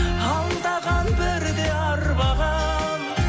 алдаған бірде арбаған